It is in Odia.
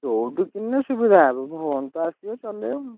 ଯୋଉଠୁ କିଣିଲେ ସୁବିଧା ହବ phone ତ ଆସିବ ଚଳେଇବ ଆଉ।